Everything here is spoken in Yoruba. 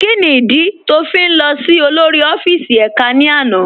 Kíni ìdí tó ń fi lọ sí olórí ọfíìsì èká ní àná?